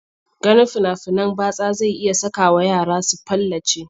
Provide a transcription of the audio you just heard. Ganin fina-finan batsa zai iya sakawa yara su palace.